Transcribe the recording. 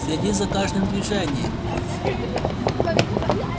следи за каждым движением